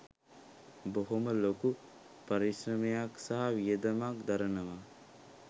බොහොම ලොකු පරිශ්‍රමයක් සහ වියදමක් දරනවා.